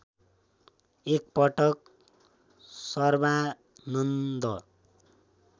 एक पटक सर्वानन्द